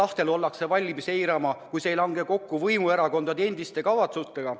Rahva tahet ollakse valmis eirama, kui see ei lange kokku võimuerakondade endi kavatsustega.